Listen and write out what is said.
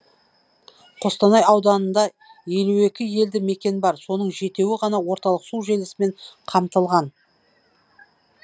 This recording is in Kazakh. қостанай ауданында елу екі елді мекен бар соның жетеуі ғана орталық су желісімен қамтылған